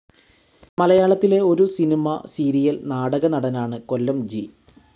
മലയാളത്തിലെ ഒരു cinema, serial, നാടക നടനാണ് കൊല്ലംജി.